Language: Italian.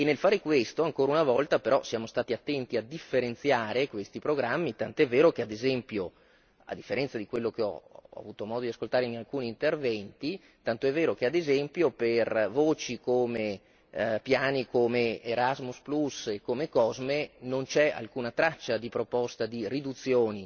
E nel fare questo, ancora una volta però siamo stati attenti a differenziare questi programmi, tant'è vero che ad esempio a differenza di quello che ho avuto modo di ascoltare in alcuni interventi tant'è vero che ad esempio per voci come piani come Erasmus plus e come COSME non c'è alcuna traccia di proposta di riduzioni